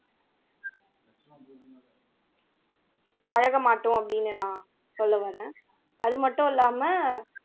பழக மாட்டோம் அப்படின்னு நான் சொல்ல வர்றேன் அது மட்டும் இல்லாம